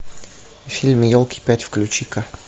фильм елки пять включи ка